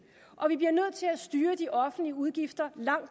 og vi bliver nødt til at styre de offentlige udgifter langt